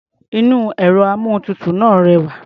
Inú ẹ̀rọ-amóhuntutù náà rẹwà.